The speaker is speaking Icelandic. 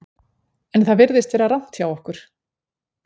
En það virðist vera rangt hjá okkur.